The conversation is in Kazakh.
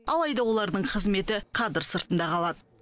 алайда олардың қызметі кадр сыртында қалады